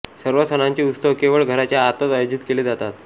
सर्व सणांचे उत्सव केवळ घराच्या आतच आयोजित केले जातात